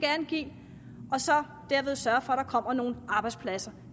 give og derved sørge for at der kommer nogle arbejdspladser